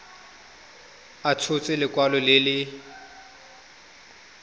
a tshotse lekwalo le le